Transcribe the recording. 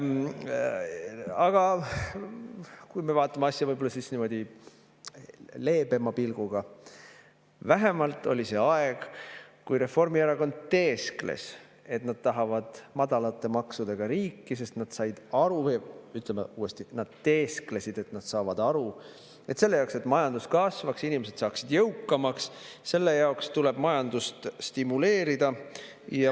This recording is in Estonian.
Aga kui me vaatame asja võib‑olla leebema pilguga, siis vähemalt oli see aeg, kui Reformierakond teeskles, et nad tahavad madalate maksudega riiki, sest nad said aru, või ütleme uuesti, nad teesklesid, et nad saavad aru, et selle jaoks, et majandus kasvaks, inimesed saaksid jõukamaks, tuleb majandust stimuleerida.